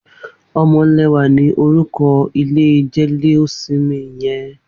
Omolewa ni órúkọ̀ ilé jẹléósìmì yèn